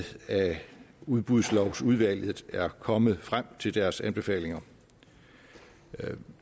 at udbudslovsudvalget er kommet frem til deres anbefalinger